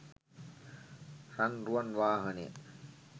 රන්රුවන් වාහනය